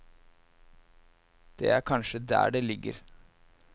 Det er kanskje der det ligger.